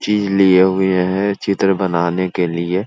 चीज़ लिए हुए हैं चित्र बनाने के लिए।